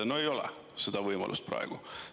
No ei ole seda võimalust praegu.